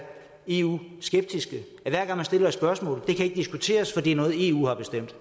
eu skeptiske at hver gang man stiller et spørgsmål kan diskuteres fordi det er noget eu har bestemt